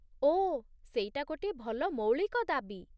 ଓଃ, ସେଇଟା ଗୋଟିଏ ଭଲ ମୌଳିକ ଦାବି ।